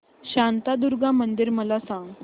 शांतादुर्गा मंदिर मला सांग